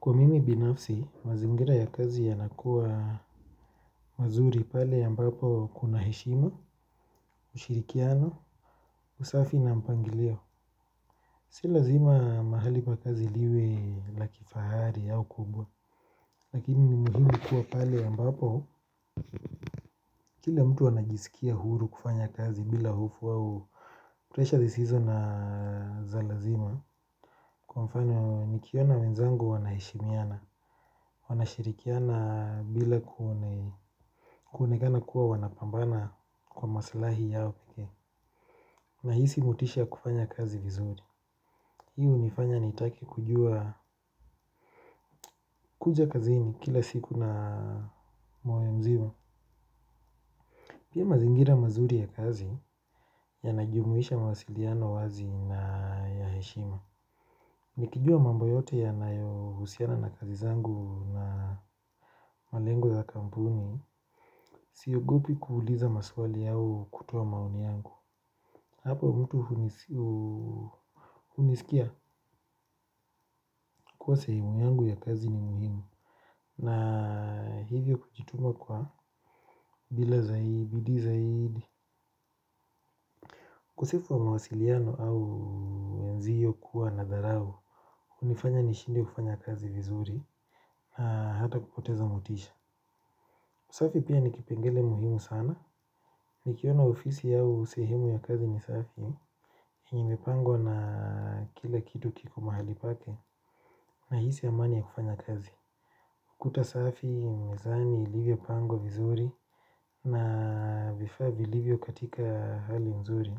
Kwa mimi binafsi, mazingira ya kazi yanakuwa mazuri pale ambapo kuna heshima, ushirikiano, usafi na mpangilio. Si lazima mahali pa kazi liwe la kifahari au kubwa, lakini ni muhimu kuwa pale ambapo. Kila mtu anajisikia huru kufanya kazi bila hofu au. Pressure zisizo na za lazima kwa mfano nikiona wenzangu wanaheshimiana. Wanashirikiana bila kuonekana kuwa wanapambana kwa maslahi yao pike. Nahisi motisha kufanya kazi vizuri. Hii hunifanya nitake kujua kuja kazini kila siku na moyo mzima. Pia mazingira mazuri ya kazi yanajumuisha mawasiliano wazi na ya heshima. Nikijua mambo yote yanayo husiana na kazi zangu na malengo ya kampuni. Siyogopi kuuliza maswali yao kutoa maoni yangu. Hapo mtu hunisikia kuwa sehumu yangu ya kazi ni muhimu na hivyo kujituma kwa bila zaidi, bidii zaidi. Kosefu wa mawasiliano au wenzio kuwa na dharau. Unifanya nishindwe kufanya kazi vizuri. Hata kupoteza motisha usafi pia nikipengele muhimu sana. Nikiona ofisi au sehemu ya kazi ni safi. Yenye ipangwa na kila kitu kiko mahali pake nahisi amani ya kufanya kazi. Kuta safi, mezani ilivyo pangwa vizuri na vifaa vilivyo katika hali nzuri.